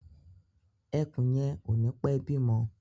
Ẹkùn yẹn ò nii pẹ bímọ